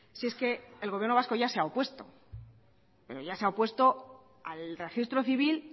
si es que el gobierno vasco ya se ha opuesto pero ya se ha opuesto al registro civil